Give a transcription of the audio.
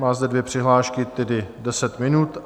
Má zde dvě přihlášky, tedy deset minut.